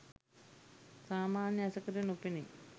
සාමාන්‍ය ඇසකට නොපෙනේ.